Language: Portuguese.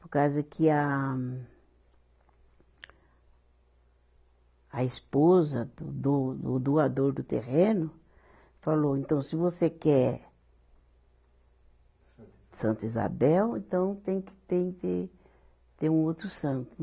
Por causa que a a esposa do do, do doador do terreno falou, então, se você quer Santa Isabel. Santa Isabel, então tem que ter, tem que ter um outro santo.